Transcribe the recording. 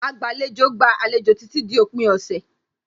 Agbàlejò gba àlejò títí di òpin ọ̀sẹ̀.